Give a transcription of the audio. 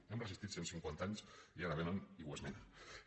hem resistit cent cinquanta anys i ara vénen i ho esmenen